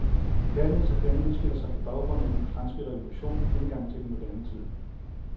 Kærlighedsaffæren udspiller sig på baggrund af den franske revolution, indgangen til den moderne tid.